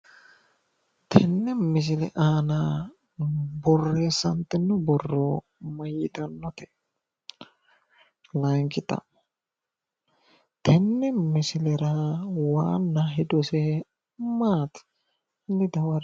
tenne misile aana borreessantino borro mayiitannote? layinki xa'mo tenne misilera qara hedose maati? hanni dawarre''e.